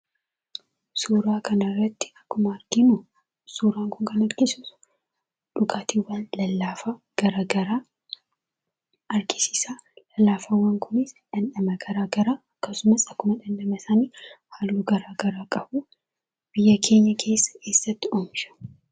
Suuraa kanarratti akkuma arginu suuran kun kan agarsiisu dhugaatiiwwan lallaafaa gara garaa argisiisaa. Lallaafaawwan kunis dhamdhama garaa garaa akkasumas akkuma dhamdhama isaanii halluu garaa garaa qabuu. Biyya keenya keessa eessatti oomishamu?